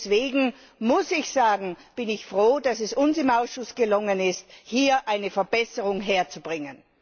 Deswegen muss ich sagen Ich bin froh, dass es uns im Ausschuss gelungen ist, hier eine Verbesserung zu erreichen.